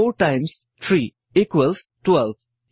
4 times 3 equals 12